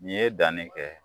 Nin ye danni kɛ